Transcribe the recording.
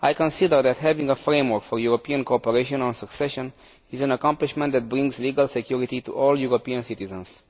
I consider that having a framework for European cooperation on succession is an accomplishment that brings legal security to all European citizens.